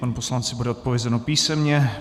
Panu poslanci bude odpovězeno písemně.